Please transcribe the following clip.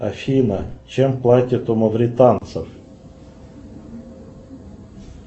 афина чем платят у мавританцев